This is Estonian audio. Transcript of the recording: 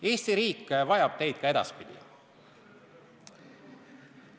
Eesti riik vajab teid ka edaspidi.